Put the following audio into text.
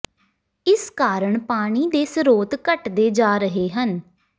ਇਸ ਕਾਰਨ ਪਾਣੀ ਦੇ ਸਰੋਤ ਘਟਦੇ ਜਾ ਰਹੇ ਹਨ